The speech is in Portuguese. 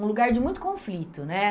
um lugar de muito conflito, né?